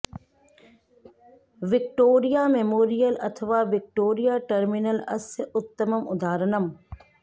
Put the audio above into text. Victoria Memorial अथवा Victoria terminal अस्य उत्तमम् अदाहरणम्